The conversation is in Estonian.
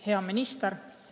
Hea minister!